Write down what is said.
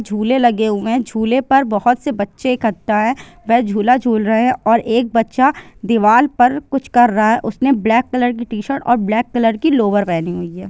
झूले लगे हुए है झूले पर बहुत से बच्चे एकठा है वे झूला झूल रहे है और एक बच्चा दीवार पर कुछ कर रहा है | उसने ब्लैक कलर की टी-शर्ट और ब्लैक कलर की लोर पहनी हुई है।